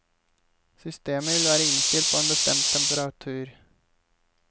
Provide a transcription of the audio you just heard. Systemet vil være innstilt på en bestemt temperatur.